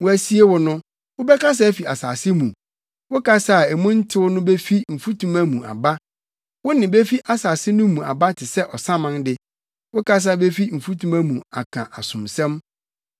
Wɔasie wo no, wobɛkasa afi asase mu; wo kasa a mu ntew no befi mfutuma mu aba. Wo nne befi asase no mu aba te sɛ ɔsaman de; wo kasa befi mfutuma mu aka asomsɛm.